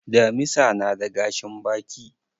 Damisa na da gashin baki.